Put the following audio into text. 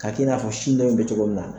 K'a k'i n'a fɔ sin dɔ in bɛ cogo min na